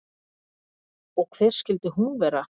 Og hver skyldi hún vera?